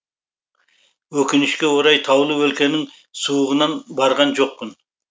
өкінішке орай таулы өлкенің суығынан барған жоқпын